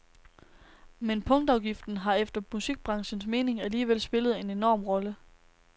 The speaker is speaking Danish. Men punktafgiften har efter musikbranchens mening alligevel spillet en enorm rolle.